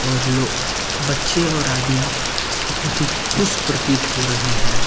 और लो बच्चे और आदमी बहुत ही खुश प्रतीत हो रहे हैं।